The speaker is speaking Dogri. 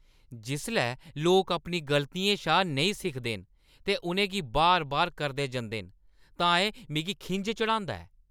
जिसलै लोक अपनी गलतियें शा नेईं सिखदे न ते उʼनें गी बार-बार करदे जंदे न तां एह्‌ मिगी खिंझ चढ़ांदा ऐ।